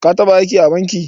Ka taɓa aiki a banki?